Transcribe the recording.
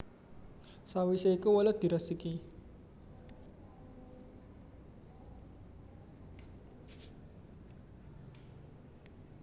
Sawisé iku welut diresiki